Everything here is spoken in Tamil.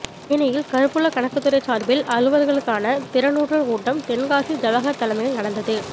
தேனியில் கருவூல கணக்குத் துறை சார்பில் அலுவலர்களுக்கான திறனூட்டல் கூட்டம் தென்காசி ஜவஹர் தலைமையில் நடந்தது